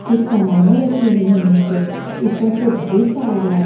कुछ सामानें रखी हुई हैं नीचे ऊपर से धूप आ रहा है।